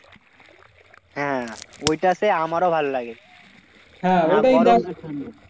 হ্যাঁ ওইটাতে আমারও ভালোলাগে।